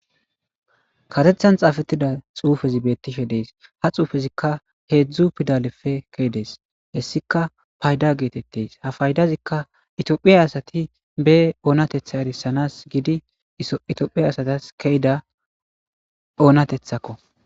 Karethan xafetida xufezi betishe des ha xufezika hezhu pidaleppe kezides hesika payda getetes tophiya asati be onatetha erisana giditophiya asatas ke'ida onatethako